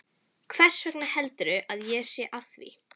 Hversvegna heldurðu að ég sé að því?